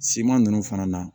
Siman nunnu fana na